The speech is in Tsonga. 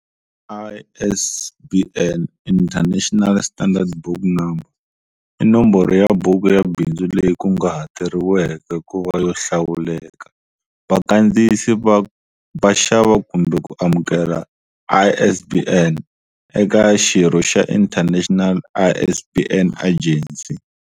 ISBN, International Standard Book Number, i nomboro ya buku ya bindzu leyi kunguhateriweke ku va yo hlawuleka. Vakandziyisi va xava kumbe ku amukela ISBNs eka xirho xa International ISBN Agency.